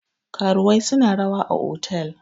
karuwai suna rawa a otal